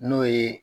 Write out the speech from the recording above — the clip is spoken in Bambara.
N'o ye